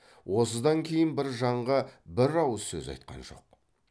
осыдан кейін бір жанға бір ауыз сөз айтқан жоқ